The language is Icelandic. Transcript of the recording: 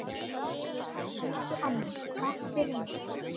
Elsku amma, takk fyrir mig.